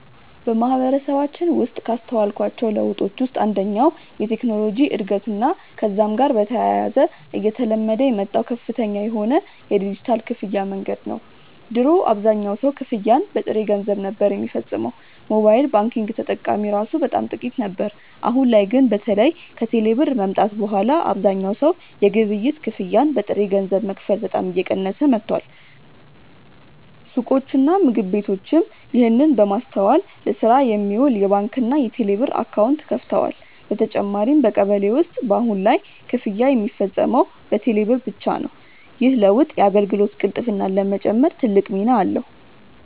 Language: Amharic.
በማህበረሰባችን ውስጥ ካስተዋልኳቸው ለውጦች ውስጥ አንደኛው የቴክኖሎጂ እድገትና ከዛም ጋር በተያያዘ እየተለመደ የመጣው ከፍተኛ የሆነ የዲጂታል ክፍያ መንገድ ነው። ድሮ አብዛኛው ሰው ክፍያን በጥሬ ገንዘብ ነበር ሚፈጽመው፤ ሞባይል ባንኪንግ ተጠቃሚ እራሱ በጣም ጥቂት ነበር። አሁን ላይ ግን በተለይ ከቴሌ ብር መምጣት በኋላ አብዛኛው ሰው የግብይት ክፍያን በጥሬ ገንዘብ መክፈል በጣም እየቀነሰ መጥቷል። ሱቆችና ምግብ ቤቶችም ይህንን በማስተዋል ለስራ የሚውል የባንክና የቴሌብር አካውንት ከፍተዋል። በተጨማሪም በቀበሌ ውስጥ በአሁን ላይ ክፍያ ሚፈጸመው በቴሌ ብር ብቻ ነው። ይህ ለውጥ የአገልግሎት ቅልጥፍናን ለመጨመር ትልቅ ሚና አለው።